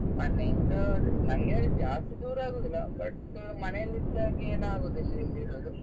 ಮನೆಯಿಂದ ಅದೆ ನನ್ಗೆ ಜಾಸ್ತಿ ದೂರ ಆಗುದಿಲ್ಲ but ಮನೇಲಿ ಇದ್ದಾಗೆ ಏನಾಗುದಿಲ್ಲ ಇಲ್ಲಿರುದು.